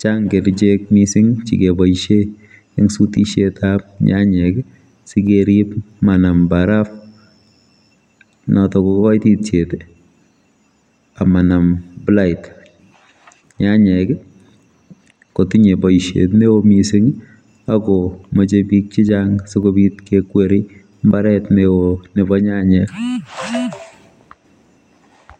chang kerichek mising chekeboisie eng sutisietab nyanyek sikerip manam barafu notok kokoititiet anan konam blight nyanyek kotinye boisiet neo mising akomeche bik chechang sikobit kekweri mbaret neo nebo nyanyek.